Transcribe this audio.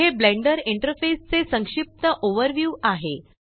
हे Blender interface चे संक्षिप्त ओवरव्यू आहे